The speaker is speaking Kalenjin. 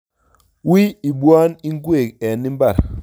Wii ibwan ingwek eng imbar